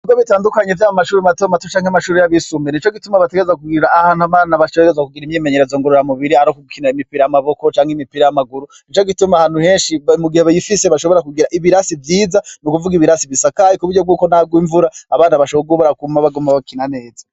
Ibigo bitandukanye vyo mu mashuri mato mato canke amashuri y'abisumbira nico gituma bategezwa kugira ahantu abana bategerezwa kugira imyimenyerezo ngorora mubiri ari ugukina imipira y'amaboko canke imipira y'amaguru nico gituma ahantu henshi mu gihe bifise bashobora kugira ibirasi vyiza n'ukuvuga ibirasi bisakaye ku buryo bwuko naho harwa imvura abana bashobora kuguma baguma bakina neza.